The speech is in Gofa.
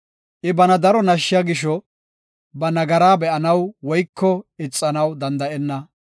I bana daro nashshiya gisho; ba nagaraa be7anaw woyko ixanaw danda7enna.